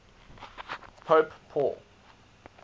pope paul